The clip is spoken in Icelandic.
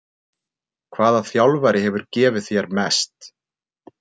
Hvaða þjálfari hefur gefið þér mest?